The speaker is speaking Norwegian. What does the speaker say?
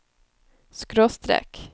skråstrek